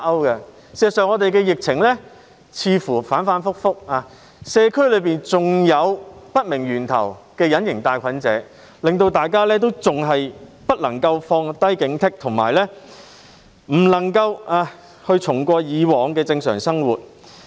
事實上，本港的疫情似乎反覆不定，社區內還有源頭不明的隱形帶菌者，大家因而不能放下警惕，回復以往的正常生活。